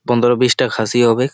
পনরো বিশ টা খাসি হবে।